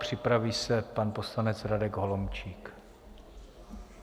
Připraví se pan poslanec Radek Holomčík.